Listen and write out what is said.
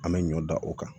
An bɛ ɲɔ dan o kan